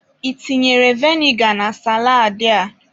Ị tinyere vinegar na saladị a?